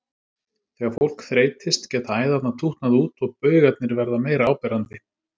Þegar fólk þreytist geta æðarnar tútnað út og baugarnir verða meira áberandi.